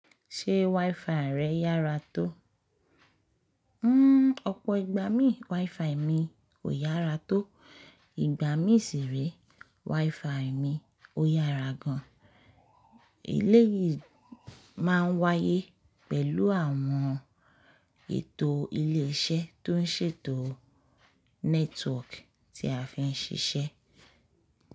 Ṣé WiFi rẹ yára tó? Hmmm ọ̀pọ̀ ìgbà mi WiFi mi kò yára tó, ìgbà mi sì ree WiFi mi ó yára gan. Eléyìí máa ń wáyé pẹ̀lú àwọn ètò ilé iṣẹ́ tó ń ṣètò network tí a fi ń ṣiṣẹ́.